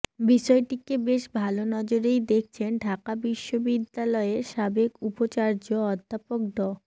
বিষয়টিকে বেশ ভালো নজরেই দেখছেন ঢাকা বিশ্ববিদ্যালয়ের সাবেক উপাচার্য অধ্যাপক ড